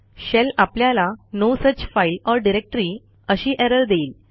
shell आपल्याला no such file or directory अशी error देईल